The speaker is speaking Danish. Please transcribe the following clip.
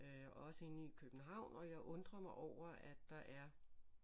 Også inde i København og jeg undrer mig over at der er